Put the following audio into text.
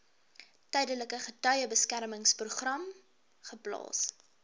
tydelike getuiebeskermingsprogram geplaas